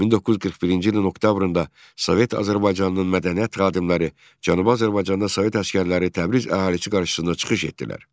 1941-ci ilin oktyabrında Sovet Azərbaycanının mədəniyyət xadimləri Cənubi Azərbaycanda Sovet əsgərləri Təbriz əhalisi qarşısında çıxış etdilər.